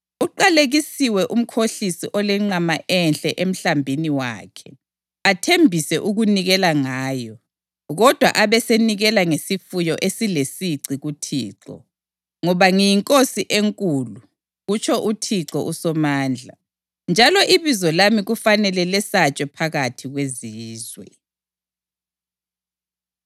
“Uqalekisiwe umkhohlisi olenqama enhle emhlambini wakhe, athembise ukunikela ngayo, kodwa abesenikela ngesifuyo esilesici kuThixo. Ngoba ngiyinkosi enkulu,” kutsho uThixo uSomandla, “njalo ibizo lami kufanele lesatshwe phakathi kwezizwe.”